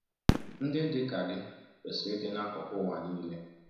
Ndị dị ka gị kwesịrị ịdị n’akụkụ ụwa niile.